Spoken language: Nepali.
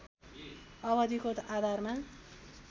अवधिको आधारमा